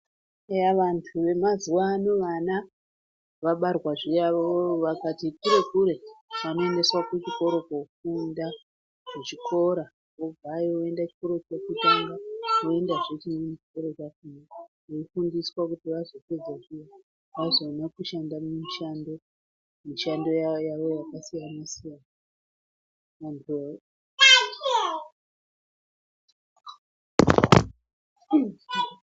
Eya vantu vemazuwa ano vana vabarwa zviya vakati kure kure vanoendeswa kuchikora kofunda, kuchikora vobvayo voende kuchikora chekutanga voendazve chimweni chikora chakona veifundiswa kuti vazopedza zviya vazoone kushanda mumishando mishando yavo yakasiyanasiyana. Muntu